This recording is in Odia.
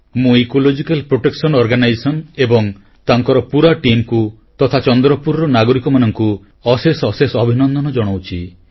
ମୁଁ ଇକୋଲୋଜିକାଲ ପ୍ରୋଟେକସନ ଅର୍ଗାନାଇଜେସନ ଏବଂ ତାଙ୍କର ପୁରା ଟିମକୁ ତଥା ଚନ୍ଦ୍ରପୁରର ନାଗରିକମାନଙ୍କୁ ଅଶେଷ ଅଶେଷ ଅଭିନନ୍ଦନ ଜଣାଉଛି